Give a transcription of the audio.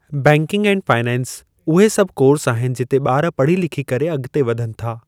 Banking and finance उहे सभु course आहिनि जिते ॿार पढ़ी लिखी करे अॻियां वधनि था।